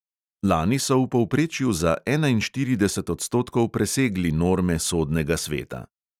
Lani so v povprečju za enainštirideset odstotkov presegli norme sodnega sveta.